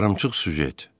Yarımçıq süjet.